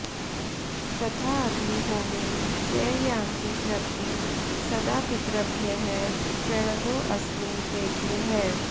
तथाऽग्निहोमेन च यान्ति तृप्तिं सदा पितृभ्यः प्रणतोऽस्मि तेभ्यः